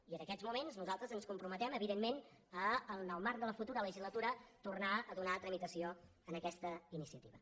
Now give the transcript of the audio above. i en aquests moments nosaltres ens comprometem evidentment a en el marc de la futura legislatura tornar a donar tramitació a aquesta iniciativa